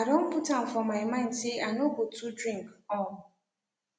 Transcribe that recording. i don put am for my mind say i no go too drink um